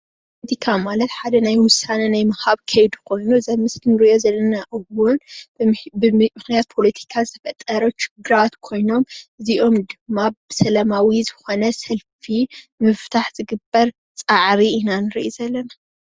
ቲካ ማለት ሓደ ናይ ውሳነ ናይ ምሃብ ከይዲ ኮይኑ እዚ አብ ምስሊ እንሪኦ ዘለና እዉን ብምክንያት ፖለቲካ ዝተፈጠሩ ችግራት ኮይኖም እዚኦም ድማ ብሰላማዊ ዝኾነ ሰልፊ ምፍታሕ ዝግበር ፃዕሪ ኢና ንርኢ ዘለና።